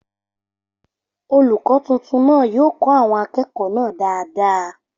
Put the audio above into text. Olùkọ́ tuntun náà yóò kọ́ àwọn akẹ́kọ̀ọ́ náà dáadáa